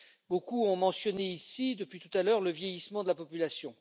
Beaucoup ont mentionné ici, depuis tout à l'heure, le vieillissement de la population.